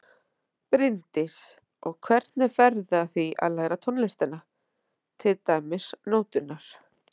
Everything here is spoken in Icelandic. Bryndís: Og hvernig ferðu að því að læra tónlistina, til dæmis nóturnar?